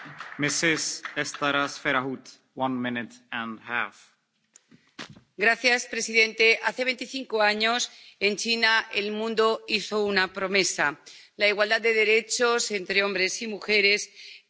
Señor presidente, hace veinticinco años, en China, el mundo hizo una promesa la igualdad de derechos entre hombres y mujeres y la igualdad para todas las mujeres y niñas del planeta.